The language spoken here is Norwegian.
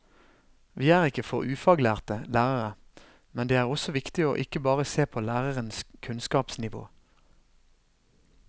Vi er ikke for ufaglærte lærere, men det er også viktig å ikke bare se på lærerens kunnskapsnivå.